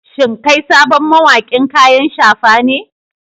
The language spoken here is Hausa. Shin kai sabon mawaƙin kayan shafa ne?